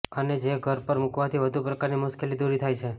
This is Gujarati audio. અને જે ઘર પર મૂકવાથી વધી પ્રકારની મુશ્કેલી દૂર થાય છે